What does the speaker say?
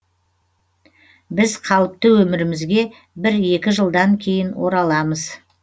біз қалыпты өмірімізге бір екі жылдан кейін ораламыз